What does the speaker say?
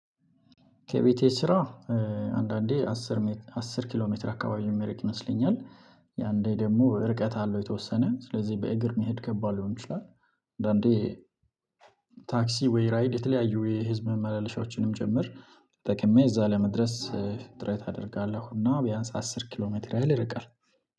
ከቤቴ ስራ አንዳንዴ አስር አስር ኪሎ ሜትር አካባቢ የሚረቅ ይመስለኛል አንዴ ደግሞ ርቀት አለው የተወሰነ ስለዚህ በእግር መሄድ ከባድ ሊሆን ይችላል። አንዳንዴ ታክሲ ወይ ራይድ የተለያዩ የህዝብ መመለሻዎችንም ጭምር ተጠቅሜ እዚያ ለመድረስ ጥረት አደርጋለሁ እና ቢያንስ አስር ኪሎ ሜትር ያህል ይርቃል።